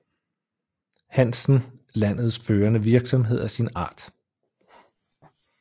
Hansen landets førende virksomhed af sin art